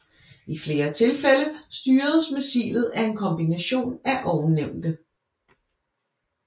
I flere tilfælde styres missilet af en kombination af ovennævnte